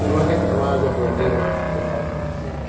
E não é que não haja problema de, por falta de gente.